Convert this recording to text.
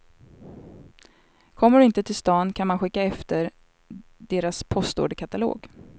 Kommer du inte till stan kan man skicka efter deras postorderkatalog.